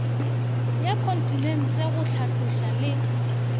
ya kontinente go hlatloša le